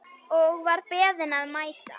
Og var beðinn að mæta.